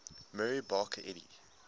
mary baker eddy